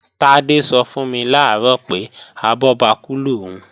Tádé sọ fún mi làárọ̀ pé, abọ́bakú lòún